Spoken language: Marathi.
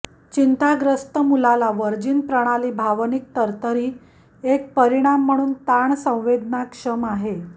चिंताग्रस्त मुलाला व्हर्जिन प्रणाली भावनिक तरतरी एक परिणाम म्हणून ताण संवेदनाक्षम आहे